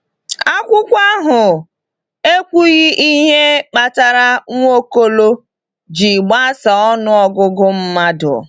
Akwụkwọ ahụ ekwughị ihe kpatara Nwaokolo ji gbasaa ọnụ ọgụgụ mmadụ.